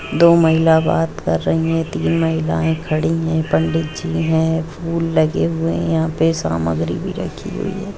दो महिला बात कर रही है तीन महिलाएं खड़ी हैपंडित जी भी हैं फूल लगे हुए हैं यहां पर सामग्री रखी हुई है।